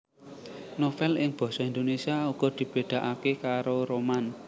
Novèl ing basa Indonèsia uga dibedakake karo roman